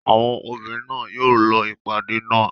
Àwọn obìnrin náà yóò lọ ìpàdé náà.